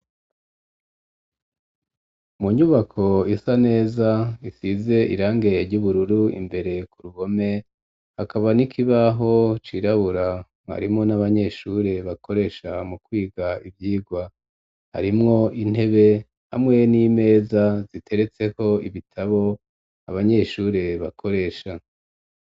Mu nyubako isa neza isize irange ry'ubururu imbere ku ruhome, hakaba n'ikibaho cirabura mwarimu n'abanyeshure bakoresha mu kwiga ivyigwa; harimwo intebe hamwe n'imeza, ziteretseko ibitabo abanyeshure bakoresha.